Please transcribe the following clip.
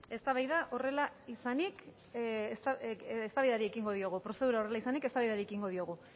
prozedura horrela izanik eztabaidari ekingo diogu